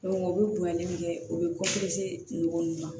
u bɛ bonyali min kɛ u bɛ ninnu na